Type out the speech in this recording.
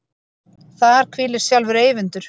Þar hvílir sjálfur Eyvindur.